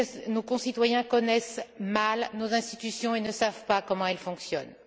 Nos concitoyens connaissent mal nos institutions et ne savent pas comment elles fonctionnent.